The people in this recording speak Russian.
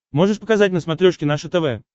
можешь показать на смотрешке наше тв